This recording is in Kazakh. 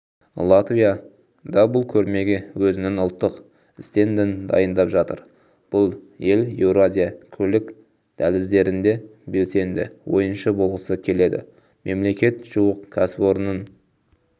латвия да бұл көрмеге өзінің ұлттық стендін дайындап жатыр бұл ел еуразия көлік дәліздерінде белсенді ойыншы болғысы келеді мемлекет жуық кәсіпорынның